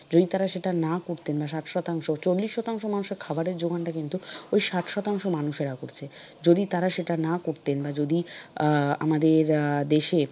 যদি তাঁরা সেটা না করতেন বা ষাট শতাংশ। চল্লিশ শতাংশ মানুষের খাবারের যোগানটা কিন্তু ওই ষাট শতাংশ মানুষেরা করছে। যদি তারা সেটা না করতেন বা যদি আহ আমাদের আহ দেশে,